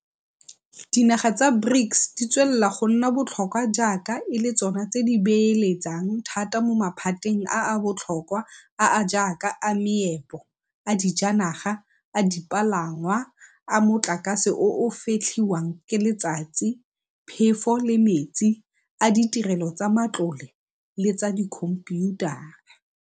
Dinaga tsa BRICS di tswelela go nna botlhokwa jaaka e le tsona di beeletsang thata mo maphateng a a botlhokwa a a jaaka a meepo, a dijanaga, a dipalangwa, a motlakase o o fetlhiwang ka letsatsi, phefo le metsi, a ditirelo tsa matlole le tsa dikhomphiutara.